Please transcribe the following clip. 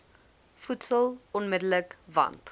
voedsel onmidddelik want